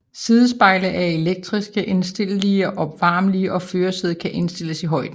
Sidespejlene er elektrisk indstillelige og opvarmelige og førersædet kan indstilles i højden